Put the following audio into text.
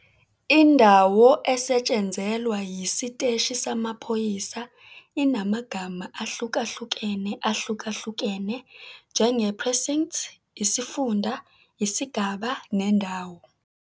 Indawo esetshenzelwa yisiteshi samaphoyisa inamagama ahlukahlukene ahlukahlukene, njenge-precinct, isifunda, isigaba nendawo.